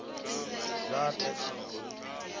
dzaṱa